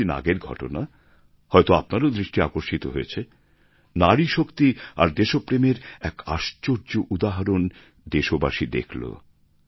কিছুদিন আগের ঘটনা হয়ত আপনারও দৃষ্টি আকর্ষিত হয়েছে নারীশক্তি আর দেশপ্রেমের এক আশ্চর্য উদাহরণ দেশবাসী দেখলো